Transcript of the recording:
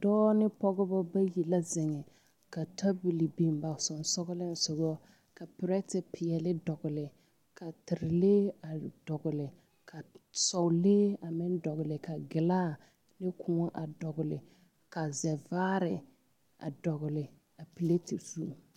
Dɔɔ ne pɔgeba bayi la zeŋe ka tabol biŋe ba sensoglesoga ka perɛtepeɛle dɔgle ka terelee a dɔgle ka sɔlee a meŋ dɔgle ka gilaa ne koɔ a dɔgle ka zɛvaare a dɔgle a perɛte zu.